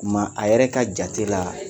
Ma a yɛrɛ ka jatela